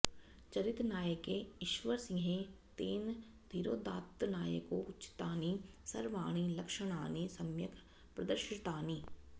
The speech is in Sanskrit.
चरितनायके ईश्वरसिंहे तेन धीरोदात्तनायकोचितानि सर्वाणि लक्षणानि सम्यक् प्रदर्शितानि